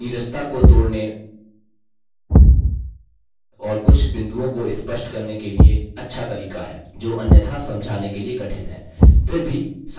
animation प्रस्तुति की नीरसता को तोड़ने और कुछ बिंदुओं को स्पष्ट करने के लिए अच्छा तरीका है जो अन्यथा समझाने के लिए कठिन हैं